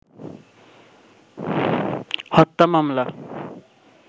হত্যা মামলা